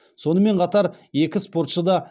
сонымен қатар екі спортшы да